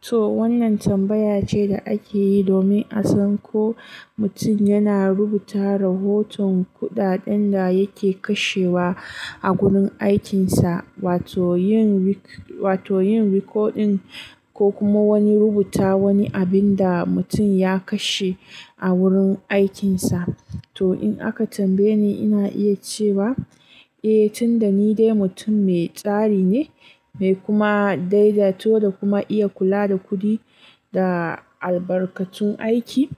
To wannan tambaya ce da ake yi domin a san ko mutum yana rubuta rahoton kuɗaɗen da yake kashewa a gurin aikinsa, wato yin riko, wato yin rikodin ko kuma wani rubuta wani abin da mutum ya kashe a wurin aikinsa. To in aka tambaye ni ina iya cewa, eh tun da ni dai mutum mai tsari ne, mai kuma daidaito da kuma iya kula da kuɗi da albarkatun aiki,